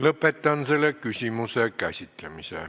Lõpetan selle küsimuse käsitlemise.